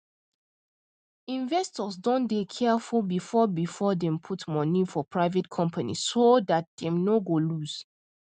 investors don dey careful before before dem put money for private companies so dat dem no go lose